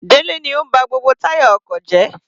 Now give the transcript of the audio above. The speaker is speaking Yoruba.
Delẹ ni ó ń ba gbogbo táyà ọkọ̀ jẹ́.